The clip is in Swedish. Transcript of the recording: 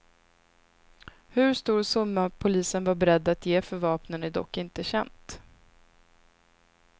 Hur stor summa polisen var beredd att ge för vapnen är dock inte känt.